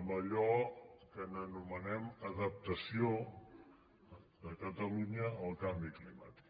amb allò que anomenem adaptació de catalunya al canvi climàtic